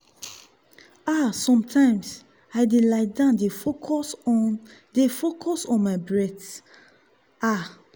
ah sometimes i dey lie down dey focus on dey focus on my breath. ah